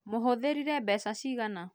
Mũhũthĩrire mbeca cigana